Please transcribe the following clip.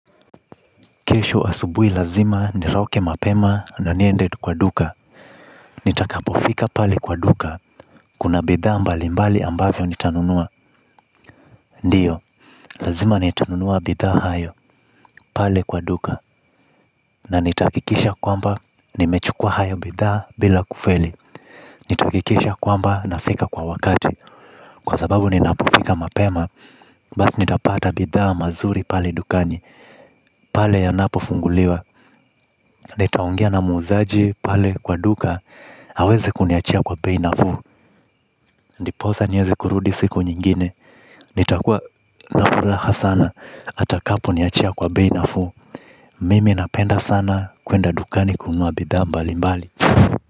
Kesho asubuhi lazima nitoke mapema na niende kwa duka nitakapofika pale kwa duka. Kuna bidhaa mbali mbali ambavyo nitanunua. Ndiyo, lazima nitanunua bidha hayo. Pale kwa duka na nitahakikisha kwamba nimechukua hayo bidha bila kufeli. Nitahakikisha kwamba na fika kwa wakati. Kwa sababu ninapofika mapema basi nitapata bidha mazuri pale dukani pale anapo fungulia nitaongea na muuzaji pale kwa duka. Hawezi kuniachia kwa bei nafuu. Ndiposa niweze kurudi siku nyingine. Nitakua nafuraha sana. Atakapo niachia kwa bei nafuu mimi napenda sana kwenda dukani kununua bidhaa mbali mbali.